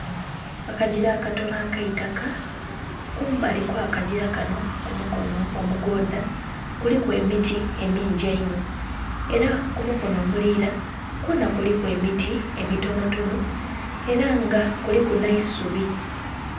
Akagira akatono akaitaka kumbali okwa kagira kano kumukono omugodha kuliku emiti emingi einho era kumukono omulira kwona kuliku emiti emitonotono era nga kuliku n'eisubi.